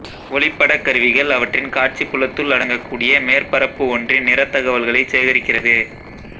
ஒளிப்படக் கருவிகள் அவற்றின் காட்சிப் புலத்துள் அடங்கக் கூடிய மேற்பரப்பு ஒன்றின் நிறத் தகவல்களைச் சேகரிக்கிறது